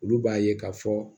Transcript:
Olu b'a ye k'a fɔ